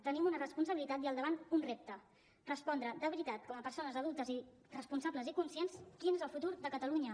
tenim una responsabilitat i al davant un repte respondre de veritat com a persones adultes responsables i conscients quin és el futur de catalunya